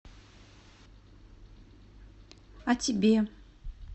а тебе